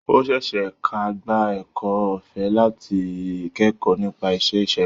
Ó ṣe é ṣe ka gba ẹ̀kọ́ ọ̀fẹ́ láti kẹ́kọ̀ọ́ nípa iṣẹ́ ìṣègùn.